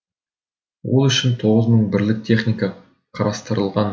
ол үшін тоғыз мың бірлік техника қарастырылған